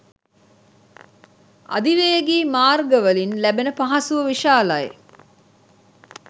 අධිවේගී මාර්ගවලින් ලැබෙන පහසුව විශාලයි.